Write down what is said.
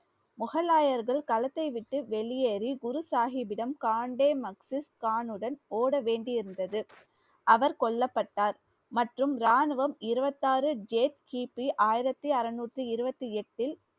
முகலாயர்கள் களத்தை விட்டு வெளியேறி குரு சாஹிபிடம் காண்டே கானுடன் ஓடவேண்டியிருந்தது அவர் கொல்லப்பட்டார் மற்றும் ராணுவம் இருவத்தாறு கி. பி ஆயிரத்தி அறுநூற்றி இருவத்தி எட்டில்